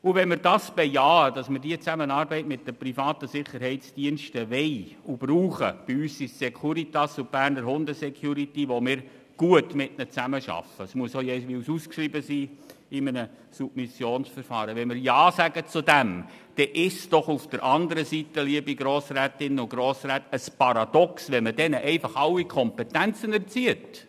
Wenn wir es bejahen, dass wir die Zusammenarbeit mit privaten Sicherheitsdiensten wollen und brauchen – bei uns sind es die Securitas und die Berner Hunde-Security, mit denen wir gut zusammenarbeiten, was jeweils in einem Submissionsverfahren ausgeschrieben werden muss –, wenn wir dazu Ja sagen, dann ist es doch paradox, wenn man diesen Diensten alle Kompetenzen entzieht!